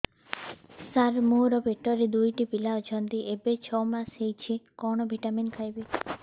ସାର ମୋର ପେଟରେ ଦୁଇଟି ପିଲା ଅଛନ୍ତି ଏବେ ଛଅ ମାସ ହେଇଛି କଣ ଭିଟାମିନ ଖାଇବି